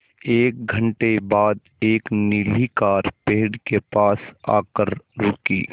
एक घण्टे बाद एक नीली कार पेड़ के पास आकर रुकी